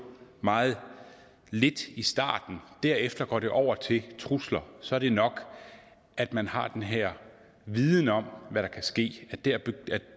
meget lidt i starten derefter går det over til trusler så er det nok at man har den her viden om hvad der kan ske